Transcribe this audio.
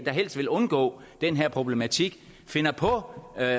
helst vil undgå den her problematik finder på at